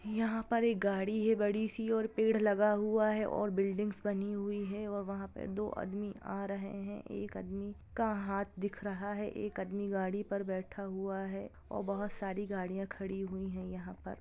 यहा पर एक गाड़ी है बड़ी सी और पेड़ लगा हुआ है और बिल्डिंग्स बनी हुई है और वहा पर दो आदमी आ रहे हैं एक आदमी का हाथ दिख रहा है एक आदमी गाड़ी पर बैठा हुआ है और बहुत सारी गाड़ियां खड़ी हुए है यहा पर।